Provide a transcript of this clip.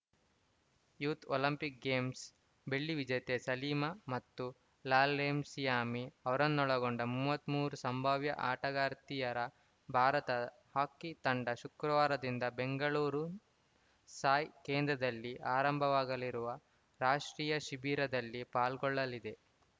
youth Olympic games ಬೆಳ್ಳಿ ವಿಜೇತೆ ಸಲೀಮಾ ಮತ್ತು ಲಾಲ್ರೆಮ್ಸಿಯಾಮಿ ಅವರನ್ನೊಳಗೊಂಡ ಮೂವತ್ತ್ ಮೂರು ಸಂಭಾವ್ಯ ಆಟಗಾರ್ತಿಯರ ಭಾರತ ಹಾಕಿ ತಂಡ ಶುಕ್ರವಾರದಿಂದ ಬೆಂಗಳೂರು ಸಾಯ್‌ ಕೇಂದ್ರದಲ್ಲಿ ಆರಂಭವಾಗಲಿರುವ ರಾಷ್ಟ್ರೀಯ ಶಿಬಿರದಲ್ಲಿ ಪಾಲ್ಗೊಳ್ಳಲಿದೆ